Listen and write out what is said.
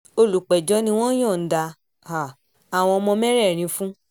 olùpẹ̀jọ́ ni wọ́n yọ̀ǹda um àwọn ọmọ mẹ́rẹ̀ẹ̀rin fún